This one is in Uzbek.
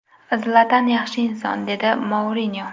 Zlatan – yaxshi inson”, – dedi Mourinyo.